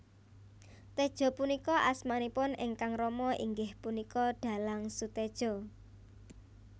Tejo punika asmanipun ingkang rama inggih punika dhalang Soetedjo